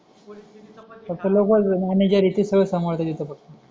कस लोकांचा मॅनेजर आहे ते सांभाळतो तिथं फक्त